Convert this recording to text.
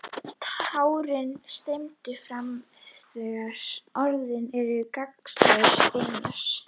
Tárin streyma fram þegar orðin eru gagnslausir steinar.